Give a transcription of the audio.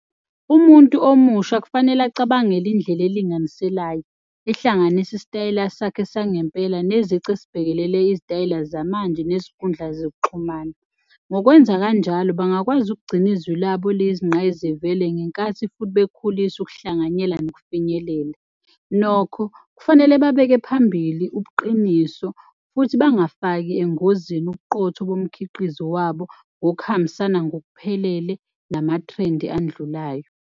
Umuntu omusha kufanele acabangele indlela elinganiselayo ehlanganisa isitayela sakhe sangempela nezici esibhekelele izitayela zamanje nesinkundla zokuxhumana. Ngokwenza kanjalo, bangakwazi ukugcina izwi labo liyizingqayizivele ngenkathi futhi bekhulisa ukuhlanganyela nokufinyelela nokho kufanele babeke phambili ubuqiniso futhi bangafaki engozini ubuqotho bomkhiqizo wabo ngokuhambisana ngokuphelele namathrendi andlulayo.